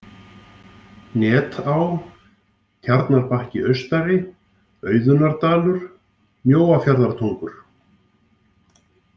Netá, Tjarnarbakki austari, Auðunardalur, Mjóafjarðartungur